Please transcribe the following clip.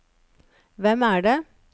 hvem er det